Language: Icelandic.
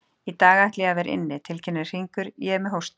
Í dag ætla ég að vera inni, tilkynnir Hringur, ég er með hósta.